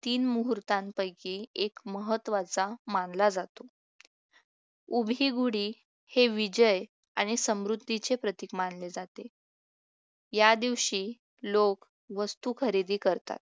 तीन मुहूर्तांपैकी एक महत्त्वाचा मानला जातो उभी गुढी हे विजय आणि समृद्धीचे प्रतीक मानले जाते या दिवशी लोक वस्तू खरेदी करतात